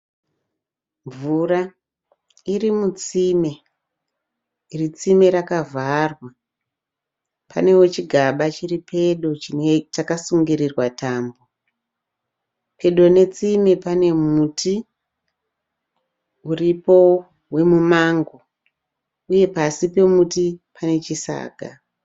Mvura iri mutsime. Iri tsime rakavharwa. Panewo chigaba chiri pedo chakasungirirwa tambo. Pedo netsime pane muti uripo wemumango. Uye pasi pemuti panechisaga.